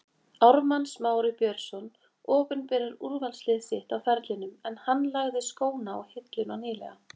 Ármann Smári Björnsson opinberar úrvalslið sitt á ferlinum en hann lagði skóna á hilluna nýlega.